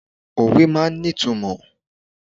Òwe máa ń ní ìtumò.